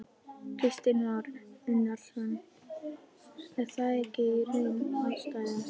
Kristinn Már Unnarsson: Er það ekki í raun ástæðan?